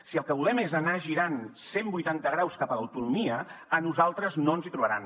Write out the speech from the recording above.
si el que volem és anar girant cent vuitanta graus cap a l’autonomia a nosaltres no ens hi trobaran